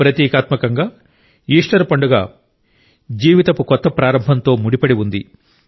ప్రతీకాత్మకంగా Easter పండుగ జీవితపు కొత్త ప్రారంభంతో ముడిపడి ఉంది